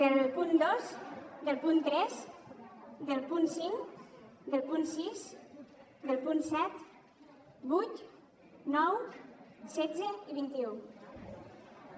del punt dos del punt tres del punt cinc del punt sis i dels punts set vuit nou setze i vint un